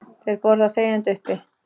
Þeir borða þegjandi uppi.